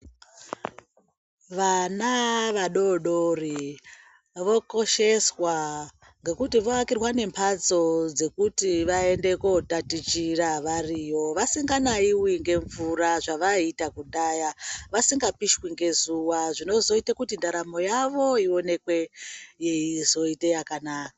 Vana vadodori vokosheswa ngekuti voakirwa memhatso dzekuti vaende kotatichira variyo vasinganaiwi ngemvura zvevaiita kudhaya vasingapishwi ngezuwa zvinozoita kuti ndaramo yavo ionekwe yeizoite yakanaka.